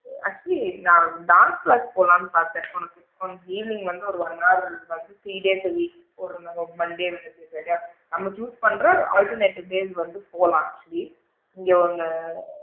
Actually நான் bank class போலாம்ன்னு பாத்தேன் உனக்கு உனக்கு evening வந்து one hour வந்து three days a week போற மாதிரி ஒரு monday friday நம்ம choose பண்ற alternate days வந்து போலாம் actually இங்க ஒன்ன~